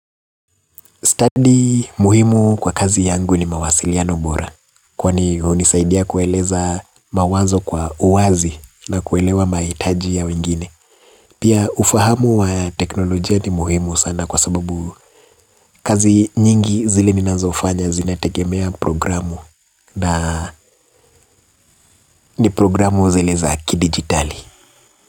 Stadi muhimu kwa kazi yangu ni mawasiliano bora, kwani hunisaidia kueleza mawazo kwa uwazi na kuelewa mahitaji ya wengine. Pia ufahamu wa teknolojia ni muhimu sana kwa sababu kazi nyingi zile ninazofanya zinategemea programu na ni programu zile za kidijitali.